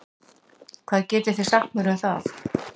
Hvað getið þið sagt mér um það?